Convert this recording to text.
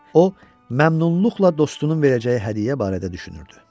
O məmnunluqla dostunun verəcəyi hədiyyə barədə düşünürdü.